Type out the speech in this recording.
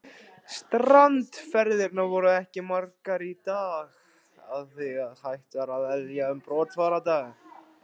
Strandferðirnar voru ekki margar í þá daga og því ekki hægt að velja um brottfarardaga.